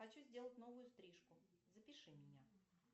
хочу сделать новую стрижку запиши меня